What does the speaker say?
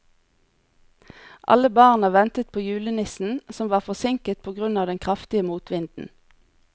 Alle barna ventet på julenissen, som var forsinket på grunn av den kraftige motvinden.